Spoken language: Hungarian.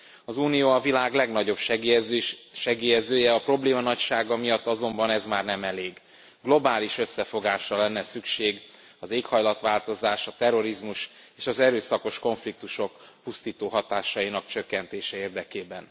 Az Unió a világ legnagyobb segélyezője, a probléma nagysága miatt azonban ez már nem elég globális összefogásra lenne szükség az éghajlatváltozás, a terrorizmus és az erőszakos konfliktusok pusztító hatásainak csökkentése érdekében.